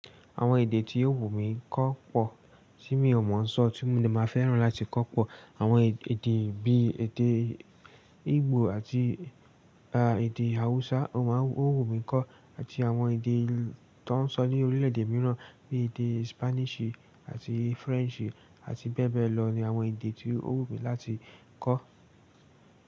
Àwọn èdè tí yóò wù mí kó pọ̀ tí mi ò mọ̀ ń sọ tí mo máa fẹ́ràn láti kó pọ̀. Àwọn èdè bí i èdè Igbo àti ba èdè Hausa ó wù mí kó àti àwọn èdè tó ń sọ ní orílẹ̀ẹ̀dè mìíràn bí i èdè Spanishì àti Frenchì àti bẹ́ẹ̀ bẹ́ẹ̀ lọ ni àwọn èdè tí ó wù mí láti kó.